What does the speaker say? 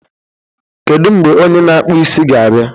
Kedu mgbe onye na-akpụ isi ga-abịa?